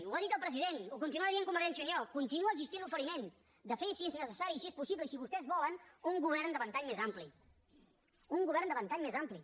ho ha dit el president ho continua dient convergència i unió continua existint l’oferiment de fer i si és necessari i si és possible i si vostès volen un govern de ventall més ampli un govern de ventall més ampli